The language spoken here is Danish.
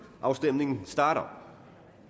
afstemningen starter